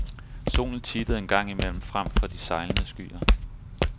Solen tittede en gang imellem frem fra de sejlende skyer.